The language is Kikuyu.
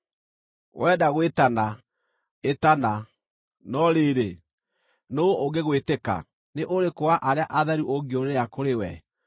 “Wenda gwĩtana, ĩtana, no rĩrĩ, nũũ ũngĩgwĩtĩka? Nĩ ũrĩkũ wa arĩa atheru ũngĩũrĩra kũrĩ we?